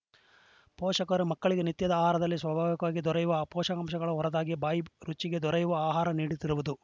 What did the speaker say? ಪೋಷಕರು ಮಕ್ಕಳಿಗೆ ನಿತ್ಯದ ಆಹಾರದಲ್ಲಿ ಸ್ವಾಭಾವಿಕವಾಗಿ ದೊರೆಯುವ ಪೋಷಕಾಂಶಗಳ ಹೊರತಾಗಿ ಬಾಯಿ ರುಚಿಗೆ ದೊರೆಯುವ ಆಹಾರ ನೀಡುತ್ತಿರುವುದು